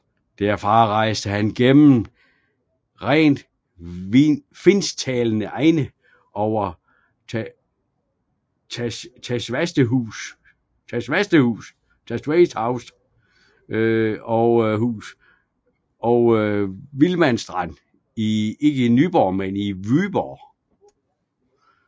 Derfra rejste han gennem rent finsktalende egne over Tavastehus og Vilmanstrand til Vyborg